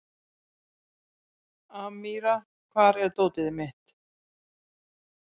Amíra, hvar er dótið mitt?